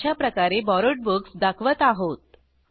अशाप्रकारे borrowed books दाखवत आहोत